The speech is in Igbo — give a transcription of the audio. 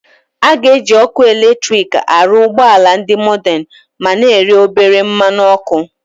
A ga-eji ọkụ eletrik arụ ụgbọ ala ndị mordern ma na-eri obere mmanụ ọkụ.